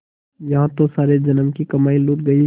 यहाँ तो सारे जन्म की कमाई लुट गयी